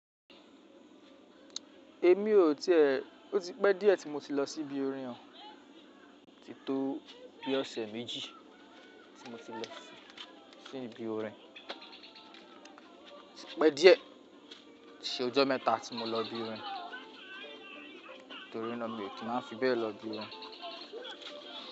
Èmi ò tí è, ó ti pẹ́ díẹ̀ tí mo ti lọ sí ibi orin oh, ó ti tó bí ọ̀sẹ̀ méjì tí mo ti lọ sí, sí ibi orin. Ó ti pẹ́ díẹ̀, ṣe ọjọ́ mẹ́ta tí mo lọ ibi orin. Nítorí náà mi ò kí máa fi bẹ́ẹ̀ lọ ibi orin.